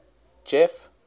jeff